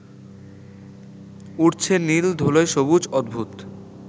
উঠছে নীল ধূলোয় সবুজ অদ্ভূত